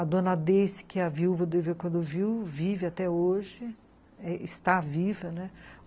A dona Deice, que a viu, quando viu, vive até hoje, está viva, né?